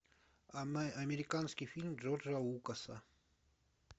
американский фильм джорджа лукаса